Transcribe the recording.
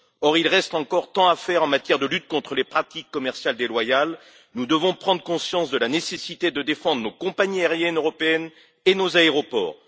Or, il reste encore tant à faire en matière de lutte contre les pratiques commerciales déloyales! Nous devons prendre conscience de la nécessité de défendre nos compagnies aériennes européennes et nos aéroports.